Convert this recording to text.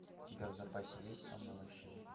у тебя в запасе есть сонная лощина